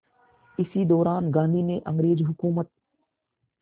इसी दौरान गांधी ने अंग्रेज़ हुकूमत